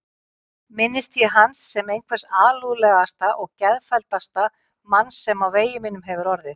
Minnist ég hans sem einhvers alúðlegasta og geðfelldasta manns sem á vegi mínum hefur orðið.